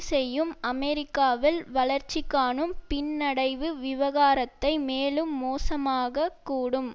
செய்யும் அமெரிக்காவில் வளர்ச்சிகாணும் பின்னடைவு விவகாரத்தை மேலும் மோசமாகக் கூடும்